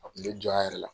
A kun bɛ jɔ a yɛrɛ la